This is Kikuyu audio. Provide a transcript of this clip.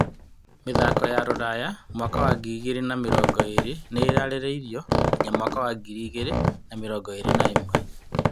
Mĩthako ya Rūraya mwaka wa ngiri igĩrĩ na mĩrongo ĩrĩ nĩ ĩrarĩrĩirio nginya mwaka wa ngiri igĩrĩ na mĩrongo ĩrĩ na ĩmwe.